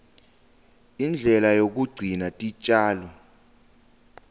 indlela yekugcina titjalo